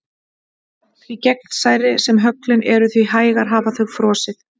Því gegnsærri sem höglin eru því hægar hafa þau frosið.